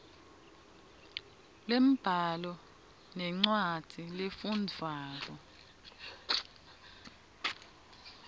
lwembhalo nencwadzi lefundvwako